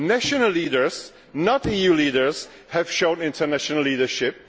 National leaders, not EU leaders, have shown international leadership.